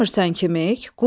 Görmürsən kimik?